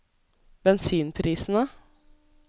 bensinprisene